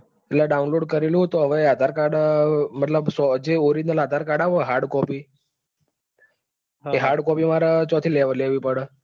એટલે download કરેલું હે તો હવે આધાર card મતલબ જે આધાર card આવે hard copy એ hard copy માર ક્યાંથી લેવી પડે?